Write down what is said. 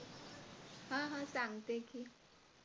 हा हा सांगते की